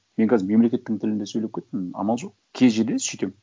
мен қазір мемлекеттің тілінде сөйлеп кеттім амал жоқ кей жерде сөйтемін